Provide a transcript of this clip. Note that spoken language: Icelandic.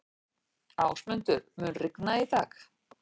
Ásmundur, mun rigna í dag?